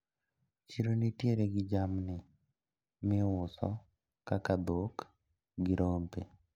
Chiro nitiere gi jamni miuso kaka dhok gi rombe.